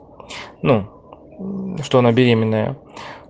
ну что она беременная